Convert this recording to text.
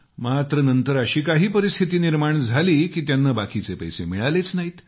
मात्र नंतर अशी काही परीस्थिती निर्माण झाली की त्यांना बाकीचे पैसे मिळालेच नाहीत